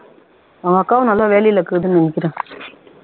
அவங்க அக்காவும் நல்ல வேலைல இருக்குன்னு நினைக்கிறேன்